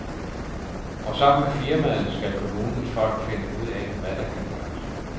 Og sammen med firmaet skal kommunens folk finde ud af, hvad der kan gøres.